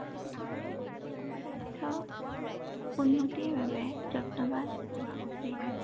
জনস্বাস্থ্য উন্নতিৰ বাবে যত্নৱান হোৱা উচিত।